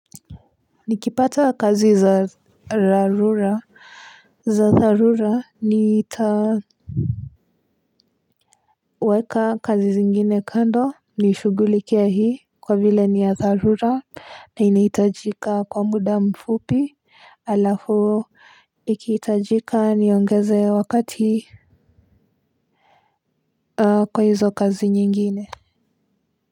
Nikipata kazi za rarura za tharura ni itaweka kazi zingine kando nishugulikie hii kwa vile ni ya tharura na inaitajika kwa muda mfupi alafu ikitajika niongeze wakati kwa hizo kazi nyingine.